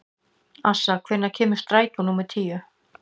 Assa, hvenær kemur strætó númer tíu?